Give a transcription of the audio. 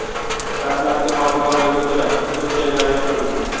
Dastlabki ma’lumotlarga ko‘ra, to‘rt jangari yo‘q qilindi.